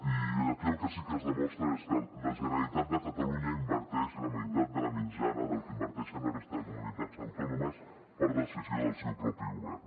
i aquí el que sí que es demostra és que la generalitat de catalunya inverteix la meitat de la mitjana del que inverteixen la resta de comunitats autònomes per decisió del seu propi govern